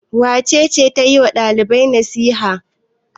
Wace ce ta yi wa ɗalibai nasiha?